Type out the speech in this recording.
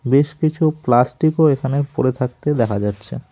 বেশ কিছু প্লাস্টিকও এখানে পড়ে থাকতে দেখা যাচ্ছে।